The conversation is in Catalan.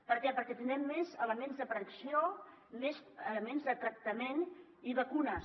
per què perquè tindrem més elements de predicció més elements de tractament i vacunes